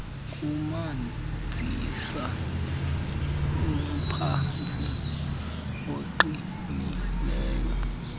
kumanzisa umphantsi oqinileyo